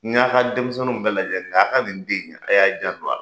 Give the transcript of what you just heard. N y'a ka denmisɛnninw bɛɛ lajɛ nka a ka nin den a y'a janto a la.